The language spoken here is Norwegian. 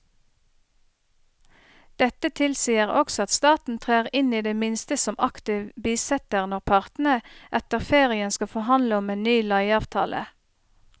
Dette tilsier også at staten trer inn i det minste som aktiv bisitter når partene etter ferien skal forhandle om en ny leieavtale.